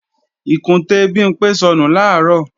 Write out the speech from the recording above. Ìkùntè Bimpé sọnù làárọ̀